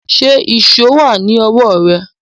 Ṣé ìṣó wà ní ọwọ́ rẹ